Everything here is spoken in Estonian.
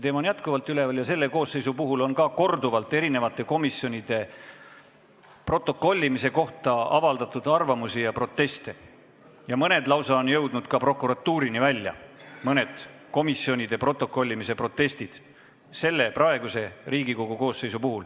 Ka praeguse koosseisu puhul on korduvalt erinevate komisjonide protokollimise kohta arvamust avaldatud ja proteste esitatud ning mõned neist on lausa prokuratuurini välja jõudnud – mõned komisjonide protokollimise kohta esitatud protestid.